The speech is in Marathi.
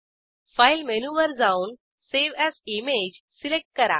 फाइल मेनूवर जाऊन सावे एएस इमेज सिलेक्ट करा